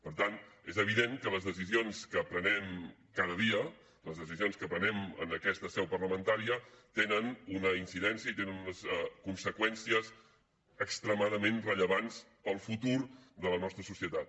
per tant és evident que les decisions que prenem cada dia les decisions que prenem en aquesta seu parlamentària tenen una incidència i tenen unes conseqüències extremadament rellevants per al futur de la nostra societat